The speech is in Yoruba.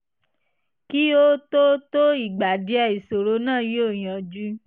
kí ó tó tó ìgbà díẹ̀ ìṣòro náà yóò yanjú